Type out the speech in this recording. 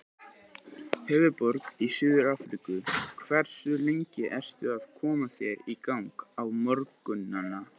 Höfðaborg í Suður-Afríku Hversu lengi ertu að koma þér í gang á morgnanna?